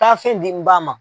Taa fen di n ba ma